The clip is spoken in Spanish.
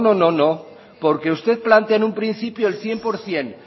no no no porque usted plantea en un principio el cien por ciento